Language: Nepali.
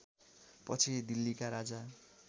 पछि दिल्लीका राजा